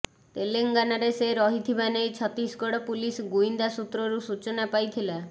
ତେଲେଙ୍ଗାନାରେ ସେ ରହିଥିବା ନେଇ ଛତିଶଗଡ଼ ପୁଲିସ ଗୁଇନ୍ଦା ସୂତ୍ରରୁ ସୂଚନା ପାଇଥିଲା